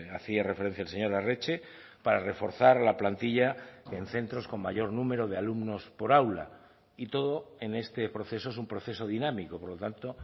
hacía referencia el señor arretxe para reforzar la plantilla en centros con mayor número de alumnos por aula y todo en este proceso es un proceso dinámico por lo tanto